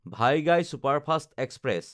Vaigai superfast express